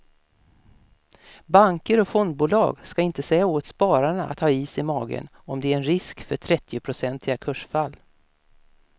Banker och fondbolag ska inte säga åt spararna att ha is i magen om det är en risk för trettionprocentiga kursfall.